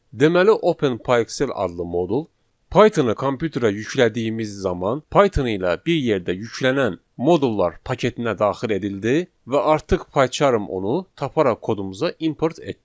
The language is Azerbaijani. Deməli OpenPyXL adlı modul Pythonu kompüterə yüklədiyimiz zaman Python ilə bir yerdə yüklənən modullar paketinə daxil edildi və artıq Paycharm onu taparaq kodumuza import etdi.